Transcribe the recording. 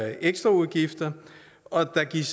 ekstraudgifter og der gives